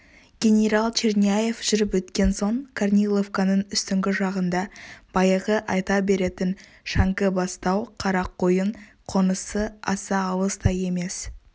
генерал черняев жүріп өткен соң корниловканың үстіңгі жағында баяғы айта беретін шәңкібастау қарақойын қонысы аса алыс та емес